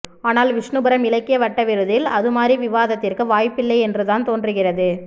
ஆனால் விஷ்ணுபுரம் இலக்கிய வட்ட விருதில் அதுமாதிரி விவாதத்திற்கு வாய்ப்பில்லை என்றுதான் தோன்றுகிறது